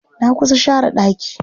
Na kusa share ɗaki.